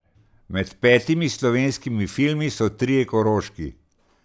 Med petimi slovenskimi filmi so trije koroški.